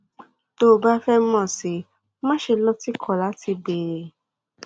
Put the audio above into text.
tó o bá fẹ mọ sí i má ṣe lọtìkọ láti béèrè